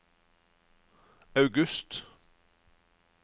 august